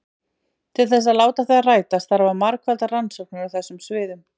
Til þess að láta þær rætast þarf að margfalda rannsóknir á þessum sviðum.